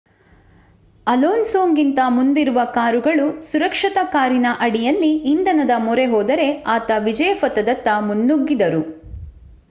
ಅಲೋನ್ಸೊಗಿಂತ ಮುಂದಿರುವ ಕಾರುಗಳು ಸುರಕ್ಷತಾ ಕಾರಿನ ಅಡಿಯಲ್ಲಿ ಇಂಧನದ ಮೊರೆಹೋದರೆ ಆತ ವಿಜಯ ಪಥದತ್ತ ಮುನ್ನುಗಿದನು